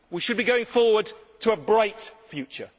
We should be going forward to a bright future.